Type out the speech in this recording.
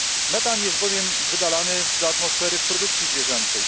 Metan jest bowiem wydalany do atmosfery w produkcji zwierzęcej.